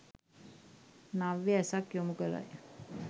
නව්‍ය ඇසක් යොමු කරයි.